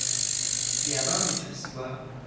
ke ya ba mothusi wa